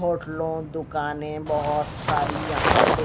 होटलों दुकानें बहुत सारी यहां पे--